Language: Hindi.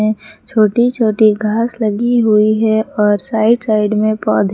छोटी छोटी घास लगी हुई है और साइड साइड में पौधे।